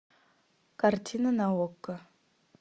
картина на окко